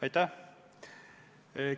Aitäh!